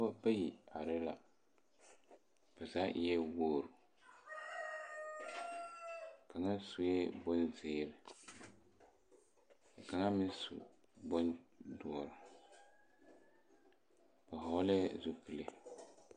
Pɔgeba bayi are la ba zaa eɛ wogri kaŋa sue bonzeere kaŋa meŋ su bondoɔre ba vɔglɛɛ zupili.